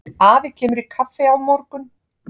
Afi kemur í kaffi á morgun.